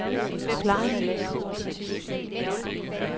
forklaringen